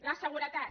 la seguretat